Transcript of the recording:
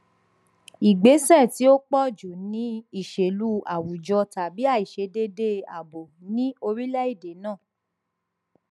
igbesẹ ti o pọju ni iṣelu awujọ tabi aiṣedede aabo ni orilẹede naa